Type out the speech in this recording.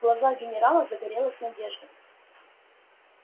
в глазах генерала загорелась надежда